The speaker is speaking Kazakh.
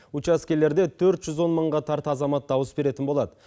учаскелерде төрт жүз он мыңға тарта азамат дауыс беретін болады